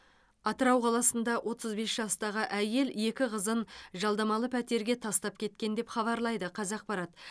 атырау қаласында отыз бес жастағы әйел екі қызын жалдамалы пәтерге тастап кеткен деп хабарлайды қазақпарат